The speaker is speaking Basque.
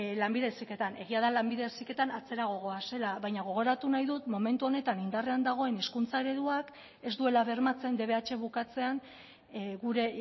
lanbide heziketan egia da lanbide heziketan atzerago goazela baina gogoratu nahi dut momentu honetan indarrean dagoen hizkuntza ereduak ez duela bermatzen dbh bukatzean gure